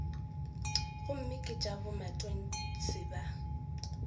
gomme ke tša bomatontshe ba